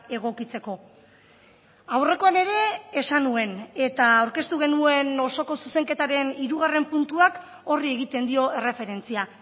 egokitzeko aurrekoan ere esan nuen eta aurkeztu genuen osoko zuzenketaren hirugarren puntuak horri egiten dio erreferentzia